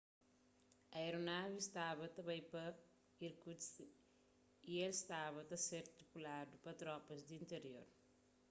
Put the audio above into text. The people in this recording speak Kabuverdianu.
aeronavi staba ta bai pa irkutsk y el staba ta ser tripuladu pa tropas di intirior